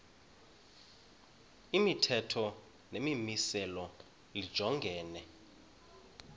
imithetho nemimiselo lijongene